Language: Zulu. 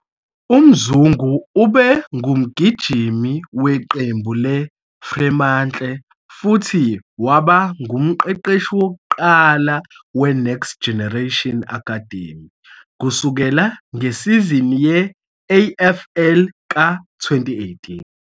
UMzungu ube ngumgijimi weqembu leFremantle futhi waba ngumqeqeshi wokuqala we-Next Generation Academy kusukela ngesizini ye-AFL ka-2018.